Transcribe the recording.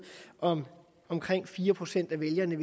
om omkring fire procent af vælgerne